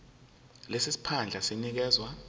lesi siphandla sinikezwa